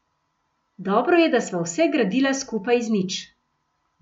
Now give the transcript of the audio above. Dobro je, da sva vse gradila skupaj iz nič.